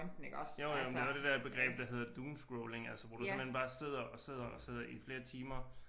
Jo jo men det var det dér begreb der hedder doomscrolling altså hvor du simpelthen bare sidder og sidder og sidder i flere timer